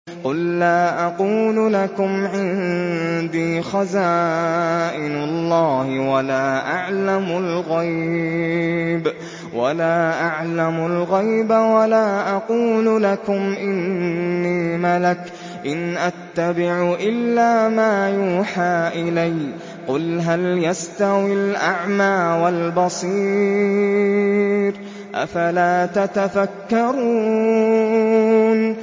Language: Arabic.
قُل لَّا أَقُولُ لَكُمْ عِندِي خَزَائِنُ اللَّهِ وَلَا أَعْلَمُ الْغَيْبَ وَلَا أَقُولُ لَكُمْ إِنِّي مَلَكٌ ۖ إِنْ أَتَّبِعُ إِلَّا مَا يُوحَىٰ إِلَيَّ ۚ قُلْ هَلْ يَسْتَوِي الْأَعْمَىٰ وَالْبَصِيرُ ۚ أَفَلَا تَتَفَكَّرُونَ